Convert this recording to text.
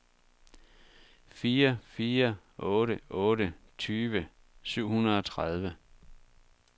fire fire otte otte tyve syv hundrede og tredive